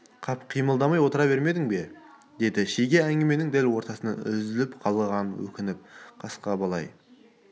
қап қимылдамай отыра бермедің бе деді шеге әңгіменің дәл ортасында үзіліп қалғанына өкініп қасқа бала ай